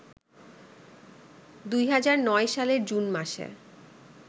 ২০০৯ সালের জুন মাসে